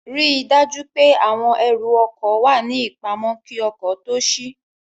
Ríi dájú pé àwọn ẹrù ọkọ̀ wà ní ìpamọ́ kí ọkọ̀ tó ṣí